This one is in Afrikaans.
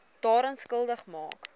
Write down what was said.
daaraan skuldig maak